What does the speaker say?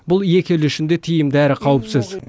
бұл екі ел үшін де тиімді әрі қауіпсіз